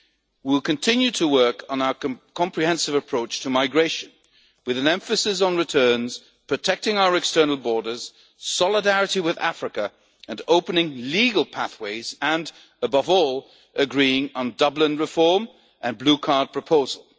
and Spain. We will continue to work on our comprehensive approach to migration with an emphasis on returns, protecting our external borders, solidarity with Africa, opening legal pathways and, above all, agreeing on Dublin reform and the Blue Card